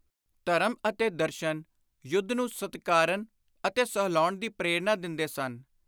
ਧਰਮ ਅਤੇ ਦਰਸ਼ਨ ਯੁੱਧ ਨੂੰ ਸਤਿਕਾਰਨ ਅਤੇ ਸਲਾਹੁਣ ਦੀ ਪ੍ਰੇਰਣਾ ਦਿੰਦੇ ਸਨ।